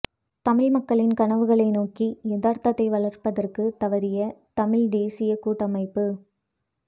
தமிழ் மக்களின் கனவுகளை நோக்கி யதார்த்தத்தை வளைப்பதற்கு தவறிய தமிழ்த் தேசியக் கூட்டமைப்பு